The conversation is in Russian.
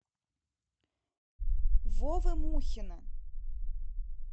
вовы мухина